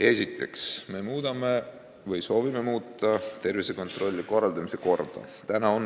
Esiteks, me soovime muuta tervisekontrolli korraldamise korda.